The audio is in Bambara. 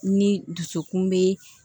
Ni dusukun bɛ